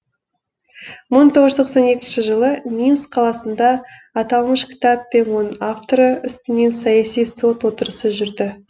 мың тоғыз жүз тоқсан екінші жылы минск қаласында аталмыш кітап пен оның авторы үстінен саяси сот отырысы жүрді